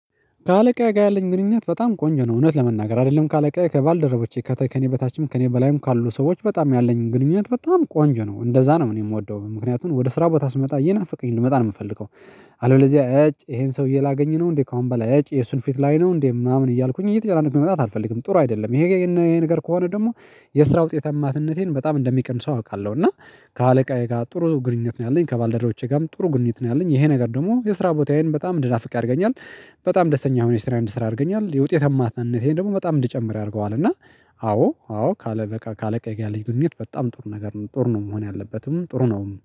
ከአለቃዬ ጋር ያለኝ ግንኙነት በጣም ቆንጆ ነው እውነት ለመናገር አይደለም ከአለቃዬ ከባልደረቦቼ ከተከኔ በታችም ከእኔ በላይም ካሉ ሰዎች በጣም ያለኝን ግንኙነት በጣም ቆንጆ ነው እንደዛ ነው እኔ የምወደው ምክንያቱም ወደ ስራ ቦታ ስመጣ ይናፍቀኝ እንድመጣ ነው የምፈልገው። አለበለዚያ እጭ ይሄን ሰውዬ ላገኝ ነው እንዴ ከአሁን በላይ እጭ የሱን ፊት ላይ ነው እንዴ ምናምን እያልኩኝ እየተጨናነኩኝ መምጣት አልፈልግም። ጥሩ አይደለም ይሄ ይሄ ነገር ከሆነ ደግሞ የስራ ውጤት ውጤታማትነቴን በጣም እንደሚቀንሰው አውቃለሁ። እና ከአለቃዬ ጋር ጥሩ ግኑኝነት ነው ያለኝ ከባልደረቦቼ ጋርም ጥሩ ግንኙነት ነው ያለኝ ይሄ ነገር ደግሞ የስራ ቦታዬን በጣም እንድናፍቅ ያደርገኛል። በጣም ደስተኛ ሆኜ ስራ እንድሰራ ያደርገኛል የውጤታማነቴን ደግሞ በጣም እንዲጨምር ያደርገዋል። እና አዎ፣ አዎ ካለቃዬ ጋር ያለኝ ግንኙነት በጣም ጥሩ ነገር ነው። ጥሩ ነው መሆን ያለበትም ጥሩ ነው